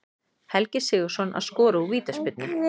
Helgi Sigurðsson að skora úr vítaspyrnu.